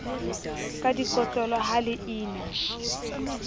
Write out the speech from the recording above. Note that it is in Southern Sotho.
ka dikotlolo ha le ina